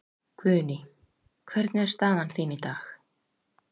Guðný: Hvernig er staðan þín í dag?